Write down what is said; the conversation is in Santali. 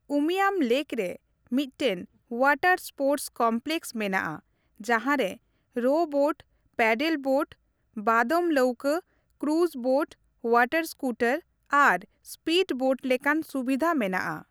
ᱩᱢᱤᱭᱟᱢ ᱞᱮᱠ ᱨᱮ ᱢᱤᱫᱴᱟᱝ Oᱣᱟᱴᱟᱨ ᱥᱯᱳᱨᱴᱥ ᱠᱚᱢᱯᱞᱮᱠᱥ ᱢᱮᱱᱟᱜᱼᱟ ᱡᱟᱦᱟᱸ ᱨᱮ ᱨᱳ ᱵᱳᱴ, ᱯᱮᱰᱮᱞ ᱵᱳᱴ, ᱵᱟᱫᱚᱢ ᱞᱟᱹᱣᱠᱟᱹ, ᱠᱨᱩᱡᱽ ᱵᱳᱴ, Oᱣᱟᱴᱟᱨ ᱥᱠᱩᱴᱟᱨ, ᱟᱨ ᱥᱯᱤᱰ ᱵᱳᱴ ᱞᱮᱠᱟᱱ ᱥᱩᱵᱤᱫᱷᱟ ᱢᱮᱱᱟᱜᱼᱟ ᱾